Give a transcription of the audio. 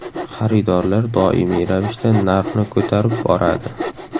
Xaridorlar doimiy ravishda narxni ko‘tarib boradi.